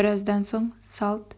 біраздан соң салт